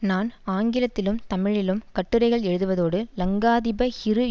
நான் ஆங்கிலத்திலும் தமிழிலும் கட்டுரைகள் எழுதுவதோடு லங்காதீப ஹிரு